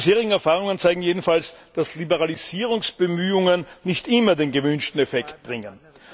Die bisherigen Erfahrungen zeigen jedenfalls, dass Liberalisierungsbemühungen nicht immer den gewünschten Effekt bringen.